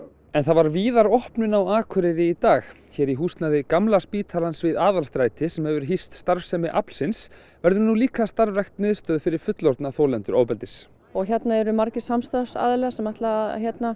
en það var víðar opnun á Akureyri í dag hér í húsnæði Gamla spítalans við Aðalstræti sem hefur hýst starfsemi aflsins verður nú líka starfrækt miðstöð fyrir fullorðna þolendur ofbeldis og hérna eru margir samstarfsaðilar sem ætla